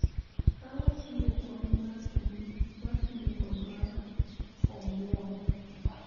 Ka wachiwo kony mar chuny, ma tiyo, kod mar omwom,